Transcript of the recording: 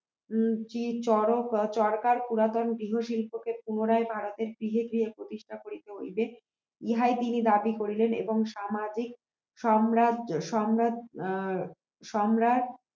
চরক চরকার পুরাতন গৃহ শিল্পকে পুনরায় ভারতের বিলেতি প্রতিষ্ঠা করতে হইবে ইহা তিনি দাবি করলেন এবং সামাজিক সম্রা সম্রা অ্যাঁ সম্রাট